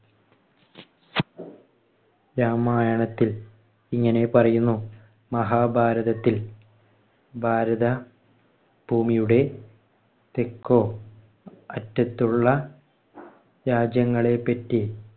രാമായണത്തിൽ ഇങ്ങനെ പറയുന്നു. മഹാഭാരത്തിൽ ഭാരത ഭൂമിയുടെ തെക്കോ അറ്റത്തുള്ള രാജ്യങ്ങളെപ്പറ്റി